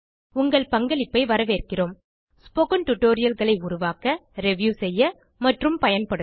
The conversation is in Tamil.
உங்கள் பங்களிப்பை வரவேற்கிறோம் ஸ்போக்கன் tutorialகளை உருவாக்க ரிவ்யூ செய்ய மற்றும் பயன்படுத்த